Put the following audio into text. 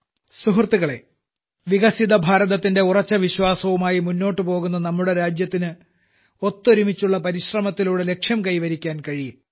സുഹൃത്തുക്കളെ വികസിത ഭാരതത്തിന്റെ ഉറച്ച വിശ്വാസവുമായി മുന്നോട്ടു പോകുന്ന നമ്മുടെ രാജ്യത്തിന് ഒത്തൊരുമിച്ചുള്ള പരിശ്രമത്തിലൂടെ ലക്ഷ്യം കൈവരിക്കാൻ കഴിയും